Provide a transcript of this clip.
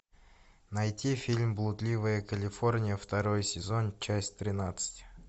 найти фильм блудливая калифорния второй сезон часть тринадцать